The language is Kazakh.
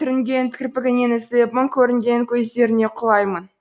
түрінген кірпігіңнен үзіліп мұң көрінген көздеріңе құлаймын